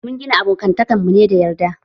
Mun gina abokantan mu ne da yarda